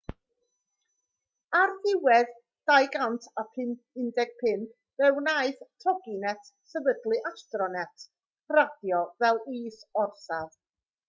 ar ddiwedd 2015 fe wnaeth toginet sefydlu astronet radio fel is-orsaf